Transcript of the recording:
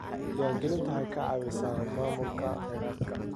Diiwaangelintu waxay ka caawisaa maamulka kheyraadka.